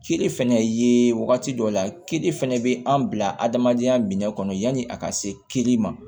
Kiri fɛnɛ ye wagati dɔ la kiri fɛnɛ bɛ an bila adamadenya minɛ kɔnɔ yanni a ka seli ma